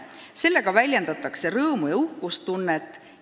Sellega väljendatakse rõõmu ja uhkustunnet.